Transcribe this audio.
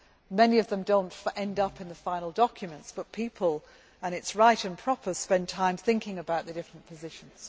Many of them do not end up in the final documents but people and this is right and proper spend time thinking about the different positions.